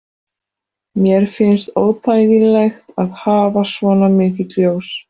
Mér finnst óþægilegt að hafa svona mikið ljós.